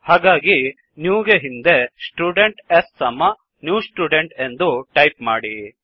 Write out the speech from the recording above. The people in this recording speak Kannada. ಹಾಗಾಗಿ ನ್ಯೂ ಗೆ ಹಿಂದೆ ಸ್ಟುಡೆಂಟ್ s ಸಮ ನ್ಯೂ ಸ್ಟುಡೆಂಟ್ ಎಂದು ಟೈಪ್ ಮಾಡಿ